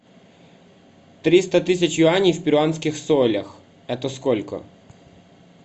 триста тысяч юаней в перуанских солях это сколько